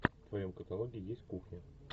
в твоем каталоге есть кухня